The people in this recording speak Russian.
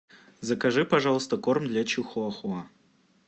закажи пожалуйста корм для чихуахуа